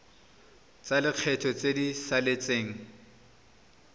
tsa lekgetho tse di saletseng